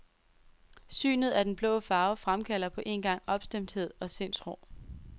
Synet af den blå farve fremkalder på en gang opstemthed og sindsro.